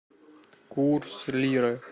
курс лиры